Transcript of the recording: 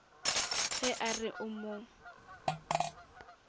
ge a re o mo